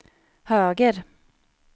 höger